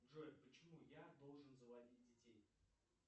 джой почему я должен заводить детей